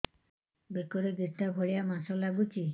ବେକରେ ଗେଟା ଭଳିଆ ମାଂସ ଲାଗୁଚି